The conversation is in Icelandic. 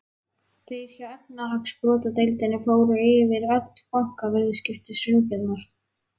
Þeir hjá efnahagsbrotadeildinni fóru yfir öll bankaviðskipti Sveinbjarnar.